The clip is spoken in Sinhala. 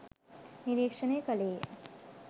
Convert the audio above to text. නිරීක්ෂණය කළේ ය.